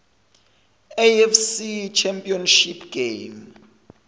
afc championship game